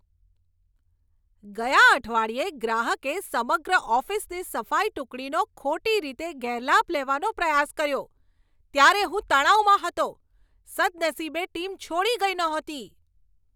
ગયા અઠવાડિયે ગ્રાહકે સમગ્ર ઓફિસની સફાઈ ટુકડીનો ખોટી રીતે ગેરલાભ લેવાનો પ્રયાસ કર્યો ત્યારે હું તણાવમાં હતો. સદનસીબે ટીમ છોડી ગઈ નહોતી.